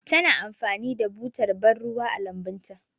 Ta na amfani da butar bar ruwa a lambun ta.